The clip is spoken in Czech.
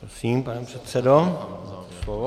Prosím, pane předsedo, máte slovo.